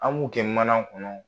An b'u kɛ mana kɔnɔ